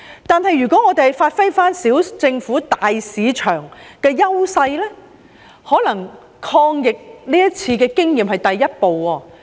但是，我們可發揮"小政府，大市場"的優勢，這次的抗疫經驗或許是第一步。